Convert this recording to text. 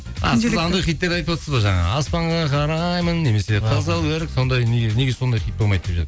а сіз анандай хиттер айтыватсыз ба жаңағы аспанға қараймын немесе қызыл өрік сондай неге сондай хит болмайды деп